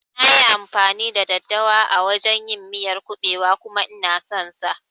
Nayi amfani da daddawa a wajan yin miyar kuɓewa kuma Ina son sa